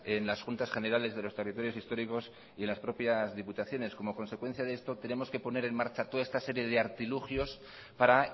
en las juntas generales de los territorios históricos y en las propias diputaciones como consecuencia de esto tenemos que poner en marcha toda esta serie de artilugios para